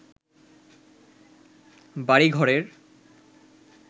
বাড়িঘরের